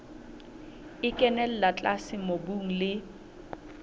e kenella tlase mobung le